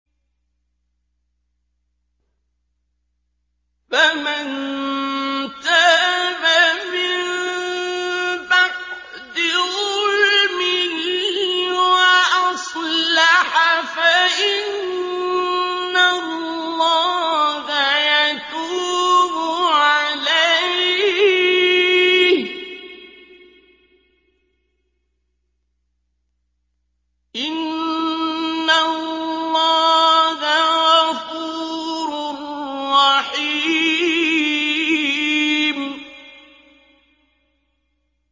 فَمَن تَابَ مِن بَعْدِ ظُلْمِهِ وَأَصْلَحَ فَإِنَّ اللَّهَ يَتُوبُ عَلَيْهِ ۗ إِنَّ اللَّهَ غَفُورٌ رَّحِيمٌ